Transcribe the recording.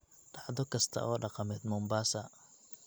dhacdo kasta oo dhaqameed Mombasa